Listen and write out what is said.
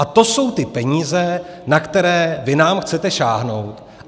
A to jsou ty peníze, na které vy nám chcete sáhnout.